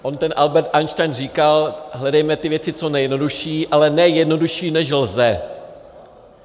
On ten Albert Einstein říkal: "Hledejme věci co nejjednodušší, ale ne jednodušší, než lze."